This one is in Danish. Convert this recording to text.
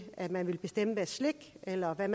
at man ville bestemme deres slik eller hvad